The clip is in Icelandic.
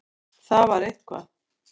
Það var eitthvað.